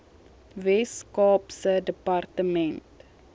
wes kaapse departement